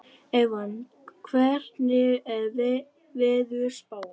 Evan, hvernig er veðurspáin?